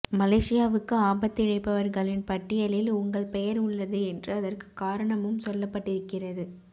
மலேசியாவுக்கு ஆபத்து இழைப்பவர்களின் பட்டியலில் உங்கள் பெயர் உள்ளது என்று அதற்குக் காரணமும் சொல்லப்பட்டிருக்கிறது